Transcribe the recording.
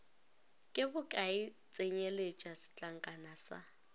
ke bokae tsenyeletša setlankana sa